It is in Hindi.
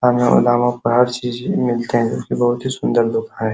बहोत ही सुंदर गुफा है।